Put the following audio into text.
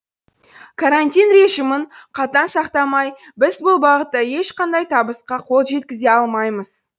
карантин режимін қатаң сақтамай біз бұл бағытта ешқандай табысқа қол жеткізе алмаймыз